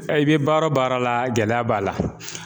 I bɛ baara o baara la gɛlɛya b'a la